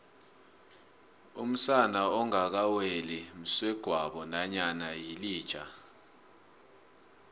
umsana ongakaweli msegwabo namkha yilija